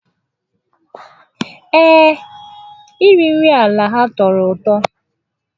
Ee, iri nri ala ha tọrọ ụtọ.